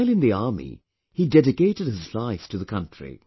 While in the army, he dedicated his life to the country